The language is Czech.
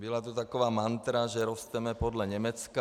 Byla tu taková mantra, že rosteme podle Německa.